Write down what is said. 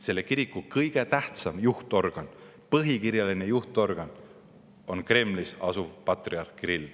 Selle kiriku kõige tähtsam juht, põhikirjaline juhtorgan on Kremlis asuv patriarh Kirill.